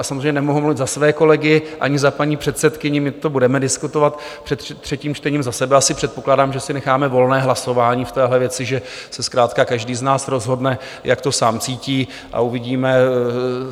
A samozřejmě nemohu mluvit za své kolegy ani za paní předsedkyni, my to budeme diskutovat před třetím čtením, za sebe asi předpokládám, že si necháme volné hlasování v téhle věci, že se zkrátka každý z nás rozhodne, jak to sám cítí, a uvidíme.